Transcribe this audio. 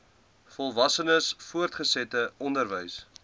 volwassenes voortgesette onderwys